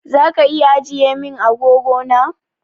Zaka iya ajiye min agogo na?